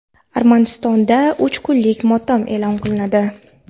Armanistonda uch kunlik motam e’lon qilinadi.